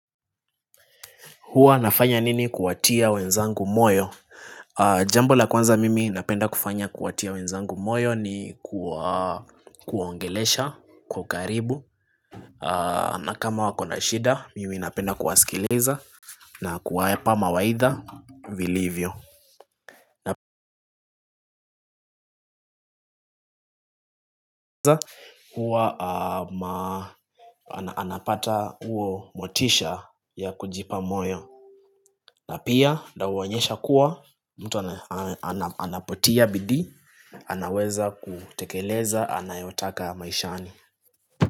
Huwa nafanya nini kuwatia wenzangu moyo? Jambo la kwanza mimi napenda kufanya kuwatia wenzangu moyo ni kuwaongelesha kwa ukaribu. Na kama wakona shida, mimi napenda kuwasikiliza na kuwapa mawaidha vilivyo huwa anapata huo motisha ya kujipa moyo. Na pia nawaonyesha kuwa mtu anapotia bidii, anaweza kutekeleza, anayotaka maishani.